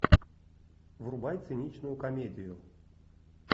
врубай циничную комедию